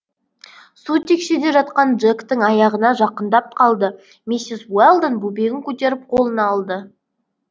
су текшеде жатқан джектің аяғына жақындап қалды миссис уэлдон бөбегін көтеріп қолына алды